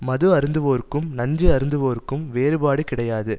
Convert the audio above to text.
மது அருந்துவோர்க்கும் நஞ்சு அருந்துவோர்க்கும் வேறுபாடு கிடையாது